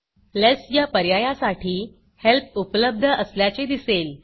लेस या पर्यायासाठी helpहेल्पउपलब्ध असल्याचे दिसेल